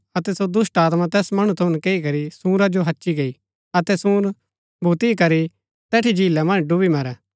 अतै सो दुष्‍टात्मा तैस मणु थऊँ नकैई करी सूंरा जो हच्ची गई अतै सूंर भूती करी तैठी झीला मन्ज डुब्‍बी मरै